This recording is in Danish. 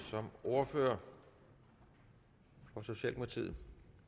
som ordfører for socialdemokratiet